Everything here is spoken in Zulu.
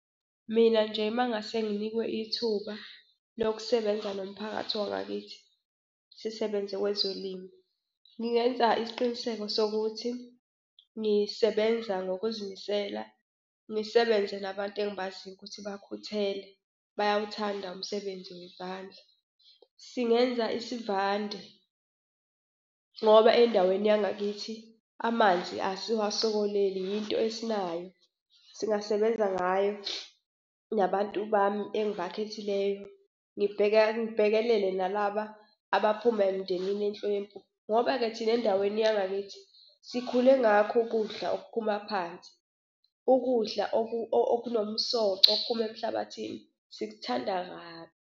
Mina nje uma ngase nginikwe ithuba lokusebenza nomphakathi wangakithi sisebenze kwezolimo, ngingenza isiqiniseko sokuthi ngisebenza ngokuzimisela, ngisebenze nabantu engibaziyo ukuthi bakhuthele bayawuthanda umsebenzi wezandla. Singenza isivande ngoba endaweni yangakithi amanzi asiwasokoleli, yinto esinayo. Singasebenza ngayo nabantu bami engibakhethileyo. Ngibheka, ngibhekelele nalaba abaphuma emndenini ehlwempu. Ngoba-ke thina endaweni yangakithi sikhule ngakho ukudla okuphuma phansi, ukudla okunomsoco okuphuma emhlabathini, sikuthanda kabi.